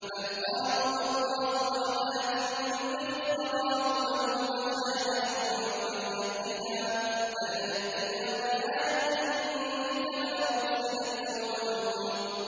بَلْ قَالُوا أَضْغَاثُ أَحْلَامٍ بَلِ افْتَرَاهُ بَلْ هُوَ شَاعِرٌ فَلْيَأْتِنَا بِآيَةٍ كَمَا أُرْسِلَ الْأَوَّلُونَ